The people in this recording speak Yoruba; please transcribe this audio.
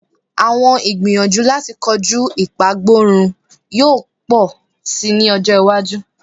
Awọn igbiyanju lati koju ipagborun yoo pọ si ni ọjọ iwaju